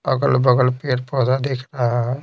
अगल-बगल पेड़ पौधा दिख रहा है।